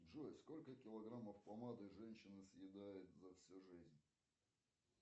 джой сколько килограммов помады женщина съедает за всю жизнь